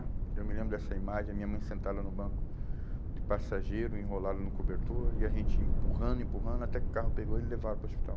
Eu me lembro dessa imagem, a minha mãe sentada no banco de passageiro, enrolada no cobertor, e a gente empurrando, empurrando, até que o carro pegou e levaram para o hospital.